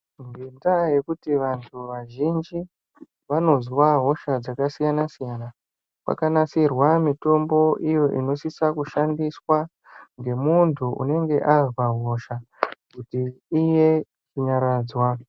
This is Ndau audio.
Kendaya yekuti vanthu vazhinji vanozwa hosha dzakasiyanasiyana kwakanasirwamitombo iyo inosisa kushandiswa ngemunthu unenge azwa hosha kuti iye kunyaradzwa.